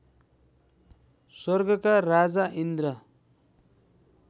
स्वर्गका राजा इन्द्र